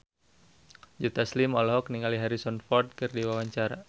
Joe Taslim olohok ningali Harrison Ford keur diwawancara